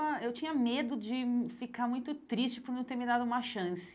Eu tinha medo de ficar muito triste por não ter me dado uma chance.